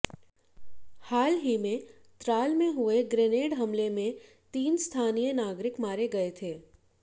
हाल ही में त्राल में हुए ग्रेनेड हमले में तीन स्थानीय नागरिक मारे गए थे